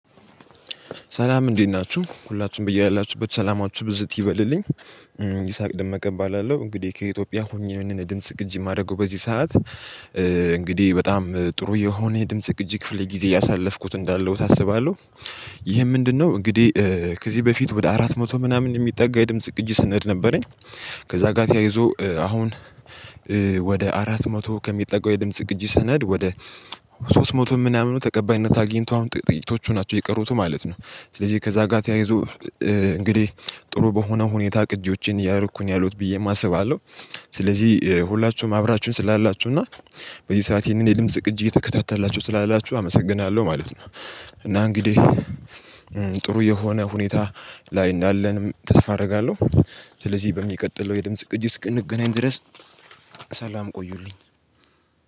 ሰላም እንዴት ናችሁ? ሁላችሁም በያላችሁበት ሰላማችሁ ብዝት ይበልልኝ። ይስሐቅ ደመቀ እባላለሁ። እንግዲህ ከኢትዮጵያ ሆኜ ነው ይህን ድምጽ ቅጂ የማደርገው በዚህ ሰዓት። እንግዲህ በጣም ጥሩ የሆነ ድምጽ ቅጂ ክፍል ጊዜ እያሳለፍኩት እንዳለውት አስባለሁ። ይሄን ምንድነው እንግዲህ ከዚህ በፊት ወደ አራት መቶ ምናምን የሚጠጋ የድምጽ ቅጅ ስነድ ነበረኝ። ከዛ ጋር ተያይዞ አሁን ወደ አራት መቶ ከሚጠጋው የድምጽ ቅጅ ሰነድ ወደ ሶስት መቶ ምናምን ተቀባይነት አግኝቶ አሁን ጥቂቶቹ ናቸው የቀሩት ማለት ነው። ስለዚህ ከዛ ጋር ተያይዞ እንግዲህ ጥሩ በሆነ ሁኔታ ቅጂዎችን እያረኩኝ ነው ያለውት ብዬም አስባለሁ። ስለዚህ ሁላችሁም አብራችሁን ስላላችሁ እና በዚህ ሰዓት ይሄንን የድምጽ ቅጅ እየተከታታላችሁ ስላላችሁ አመሰግናለሁ ማለት ነው። እና እንግዲህ ጥሩ የሆነ ሁኔታ ላይ እንዳለንም ተስፋ አደርጋለሁ። ስለዚህ በሚቀጥለው የድምጽ ቅጂ እስክንገናኝ ድረስ ሰላም ቆዩልኝ።